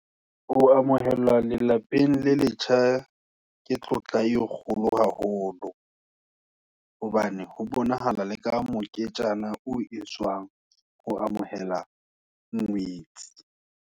Ho amohelwa le lapeng le letjha, ke tlotla e kgolo haholo. Hobane ho bonahala, le ka moketjana, o e tswang, ho amohela ngwetsi.